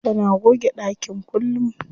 Tana goge ɗakin kullum.